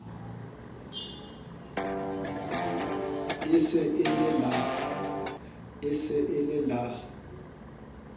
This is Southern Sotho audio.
e se e le la